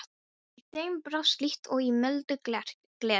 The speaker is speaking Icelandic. Í þeim brast líkt og í muldu gleri.